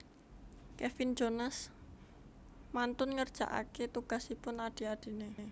Kevin Jonas mantun ngerjaake tugasipun adhi adhine